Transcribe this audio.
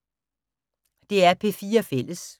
DR P4 Fælles